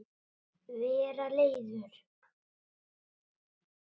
Vera leiður?